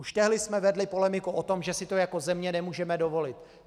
Už tehdy jsme vedli polemiku o tom, že si to jako země nemůžeme dovolit.